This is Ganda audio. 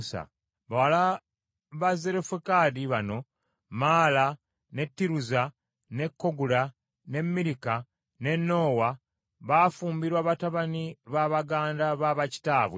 Bawala ba Zerofekadi bano: Maala, ne Tiruza, ne Kogula, ne Mirika, ne Noowa, baafumbirwa batabani ba baganda ba bakitaabwe.